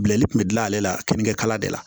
Bilali kun bɛ gilan ale la kini kɛ kala de la